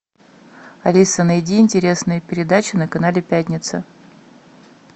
алиса найди интересные передачи на канале пятница